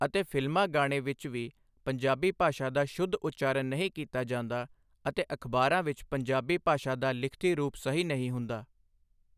ਅਤੇ ਫਿਲਮਾਂ ਗਾਣੇ ਵਿੱਚ ਵੀ ਪੰਜਾਬੀ ਭਾਸ਼ਾ ਦਾ ਸ਼ੁੱਧ ਉਚਾਰਨ ਨਹੀਂ ਕੀਤਾ ਜਾਂਦਾ ਅਤੇ ਅਖਬਾਰਾਂ ਵਿੱਚ ਪੰਜਾਬੀ ਭਾਸ਼ਾ ਦਾ ਲਿਖਤੀ ਰੂਪ ਸਹੀ ਨਹੀਂ ਹੁੰਦਾ